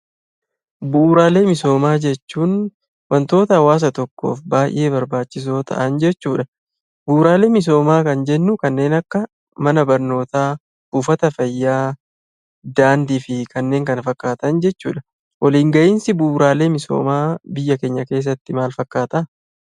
Bu'uuraalee misoomaa jechuun wantoota hawaasa tokkoof baay'ee barbaachisoo ta'an jechuudha. Bu'uuraalee misoomaa kan jennu kanneen akka: mana barnootaa, buufata fayyaa, daandii fi kanneen kana fakkaatan jechuudha. Biyya keenya keessatti waliin gahiinsi bu'uuraalee misoomaa maal fakkaata?